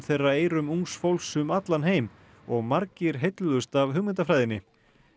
þeirra eyrum ungs fólks um allan heim og margir heilluðust af hugmyndafræðinni